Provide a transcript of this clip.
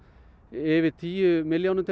yfir tíu milljónum